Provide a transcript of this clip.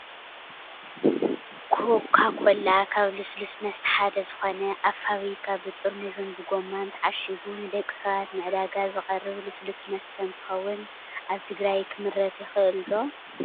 ኮካኮላ ካብ ልስሉስ መስተ ሓደ ዝኮነ፣ ኣብ ፋብሪካ ብጥርሙዝን ብጎማን ተዓሽጉ ንደቂ ሰባት ንዕዳጋ ዝቀረብ ልስሉስ መስተ እንትከውን፣ ኣብ ትግራይ ክምረት ይክእል ዶ?